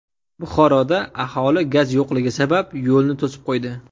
Buxoroda aholi gaz yo‘qligi sabab yo‘lni to‘sib qo‘ydi .